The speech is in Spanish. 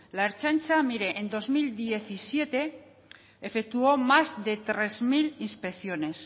la ertzaintza en dos mil diecisiete efectuó más de tres mil inspecciones